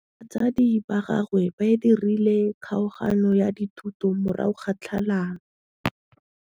Batsadi ba gagwe ba dirile kgaoganyô ya dithoto morago ga tlhalanô.